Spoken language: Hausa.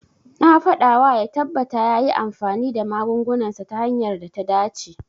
Na faɗawa ya tabbata yayi amfani da magungunansa ta hanyar da ta dace.